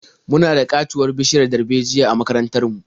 Muna da ƙatuwar bishiyar darbejiya a makarantar mu.